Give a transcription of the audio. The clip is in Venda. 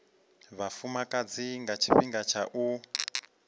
vhafumakadzi nga tshifhinga tsha u